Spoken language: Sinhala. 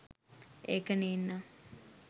ඒක නේන්නං.